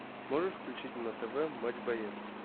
можешь включить на тв матч боец